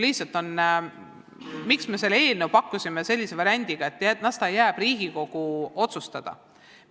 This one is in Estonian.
Miks me pakkusime selle eelnõu välja sellise variandiga, et las ta jääb Riigikogu otsustada?